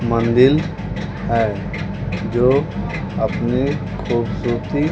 मंदिल है जो अपनी खूबसूरती--